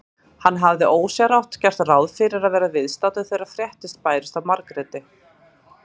Hann hafði ósjálfrátt gert ráð fyrir að vera viðstaddur þegar fréttir bærust af Margréti.